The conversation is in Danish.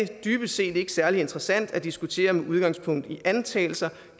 dybest set ikke særlig interessant at diskutere med udgangspunkt i antagelser